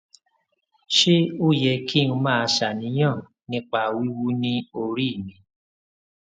ṣé ó yẹ kí n máa ṣàníyàn nípa wiwu ni ori mi